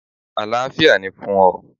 Àlàáfíà ni fún ọ!